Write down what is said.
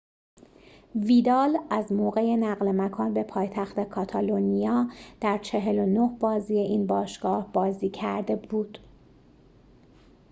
ویدال از موقع نقل مکان به پایتخت کاتالونیا در ۴۹ بازی این باشگاه بازی کرده بود